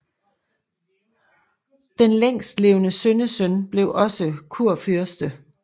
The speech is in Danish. Den længstlevende sønnesøn blev også kurfyrste